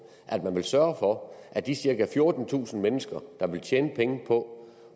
at man vil sørge for at de cirka fjortentusind mennesker der vil tjene penge på